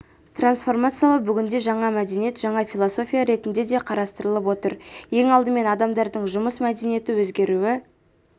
трансформациялау бүгінде жаңа мәдениет жаңа философия ретінде де қарастырылып отыр ең алдымен адамдардың жұмыс мәдениеті өзгеруі